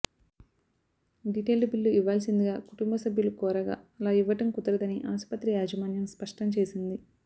detailed bill ఇవ్వాల్సిందిగా కుటుంబసభ్యులు కోరగా అలా ఇవ్వడం కుదరదని ఆస్పత్రి యాజమాన్యం స్పష్టం చేసింది